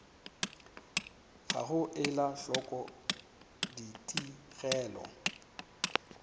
ga go ela hloko ditigelo